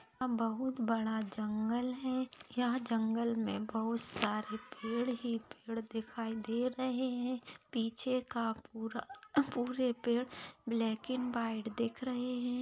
बहुत बड़ा जंगल है यहा जंगल मे बहुत सारे पेड़ ही पेड़ दिखाई दे रहे है पीछे का पूरा ह्न पूरे पेड़ ब्लॅक अँड व्हाइट दिख रहे है।